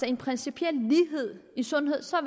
en principiel lighed i sundhed så